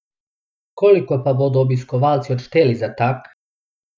Koliko pa bodo obiskovalci odšteli za tak?